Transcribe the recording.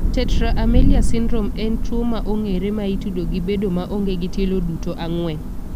Tetra amelia syndrome en tuo ma ong'ere ma itudo gi bedo ma onge gi tielo duto ang'wen.